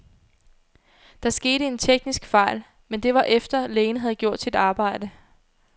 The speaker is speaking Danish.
Der skete en teknisk fejl, men det var efter, lægen havde gjort sit arbejde.